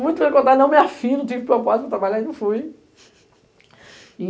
Muitos vão me contar, não me afirmo, tive proposta para trabalhar e não fui. E